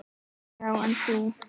Já, en þú.